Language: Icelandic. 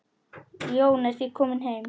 Jón er því kominn heim.